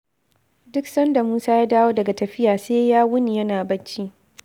Duk sanda Musa ya dawo daga tafiya, sai ya wuni yana bacci.